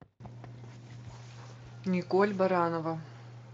николь баранова